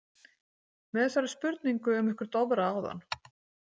Með þessari spurningu um ykkur Dofra áðan.